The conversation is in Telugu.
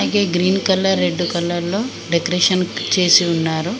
ఈ గ్రీన్ కలర్ రెడ్డు కలర్ లో డెకరేషన్ చేసి ఉన్నారు.